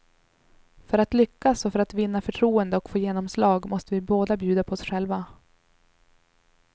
För att lyckas och för att vinna förtroende och få genomslag måste vi båda bjuda på oss själva.